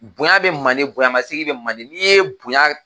Bonɲa be mande , bonɲa masegin be mande .Ni ye bonɲa